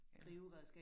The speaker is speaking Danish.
Ja